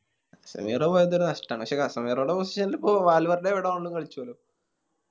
കസങ്ങര പോയത് നഷ്ട്ടാണ് പക്ഷെ കസങ്ങരയുടെ Position ല് കളിച്ചലോ